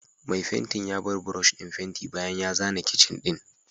Mai fenti ya bar brush din fenti bayan ya zana kicin din